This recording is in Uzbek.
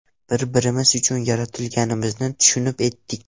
Bir-birimiz uchun yaratilganimizni tushunib yetdik.